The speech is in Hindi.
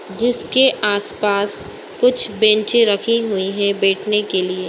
जिसके आस पास कुछ बेंचें रखी हुई हैं बैठने के लिए।